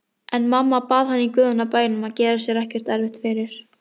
En mamma bað hann í guðanna bænum að gera sér ekki erfitt fyrir.